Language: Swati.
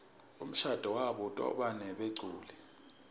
umshado wabo utobanebeculi